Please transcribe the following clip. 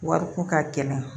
Wariko ka gɛlɛn